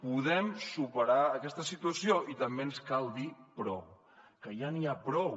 podem superar aquesta situació i també ens cal dir prou que ja n’hi ha prou